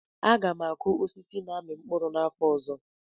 Aga m akụ osisi na-amị mkpụrụ n'afọ ọzọ